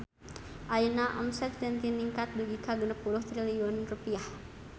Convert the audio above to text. Ayeuna omset Zentin ningkat dugi ka 60 triliun rupiah